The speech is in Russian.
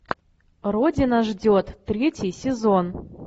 родина ждет третий сезон